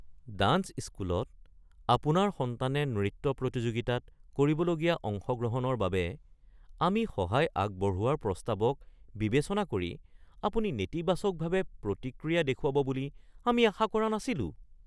Dance স্কুলত আপোনাৰ সন্তানে নৃত্য প্ৰতিযোগিতাত কৰিবলগীয়া অংশগ্ৰহণৰ বাবে আমি সহায় আগবঢ়োৱাৰ প্ৰস্তাৱক বিবেচনা কৰি আপুনি নেতিবাচকভাৱে প্ৰতিক্ৰিয়া দেখুৱাব বুলি আমি আশা কৰা নাছিলোঁ। (নৃত্য শিক্ষক)